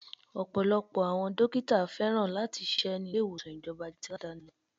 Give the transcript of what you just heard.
Ọ̀pọ̀lọpọ̀ àwọn dókítà féràn láti ṣíṣe ni ilé ìwòsàn ìjọba ju ti Aládàáni lọ.